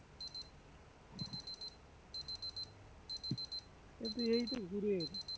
অরে তুই এইতো ঘুরে এলি